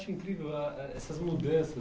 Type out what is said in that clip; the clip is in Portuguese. Eu acho incrível ah essas mudanças.